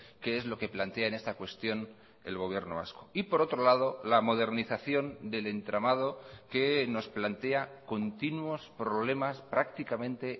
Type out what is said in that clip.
qué es lo que plantea en esta cuestión el gobierno vasco y por otro lado la modernización del entramado que nos plantea continuos problemas prácticamente